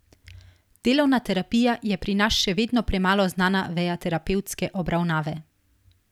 Delovna terapija je pri nas še vedno premalo znana veja terapevtske obravnave.